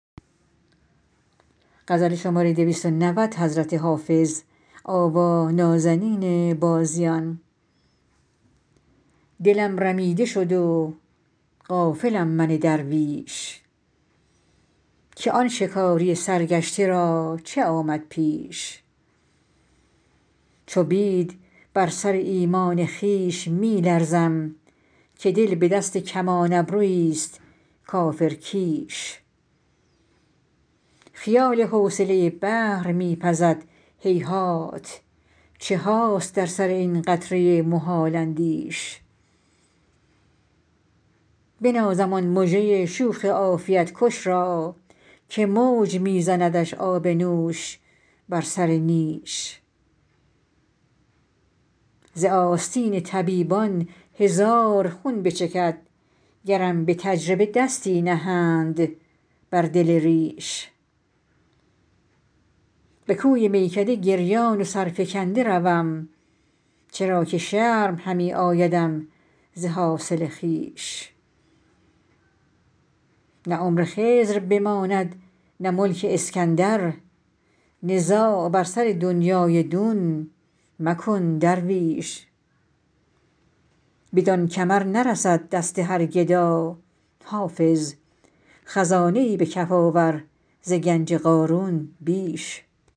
دلم رمیده شد و غافلم من درویش که آن شکاری سرگشته را چه آمد پیش چو بید بر سر ایمان خویش می لرزم که دل به دست کمان ابرویی ست کافرکیش خیال حوصله بحر می پزد هیهات چه هاست در سر این قطره محال اندیش بنازم آن مژه شوخ عافیت کش را که موج می زندش آب نوش بر سر نیش ز آستین طبیبان هزار خون بچکد گرم به تجربه دستی نهند بر دل ریش به کوی میکده گریان و سرفکنده روم چرا که شرم همی آیدم ز حاصل خویش نه عمر خضر بماند نه ملک اسکندر نزاع بر سر دنیی دون مکن درویش بدان کمر نرسد دست هر گدا حافظ خزانه ای به کف آور ز گنج قارون بیش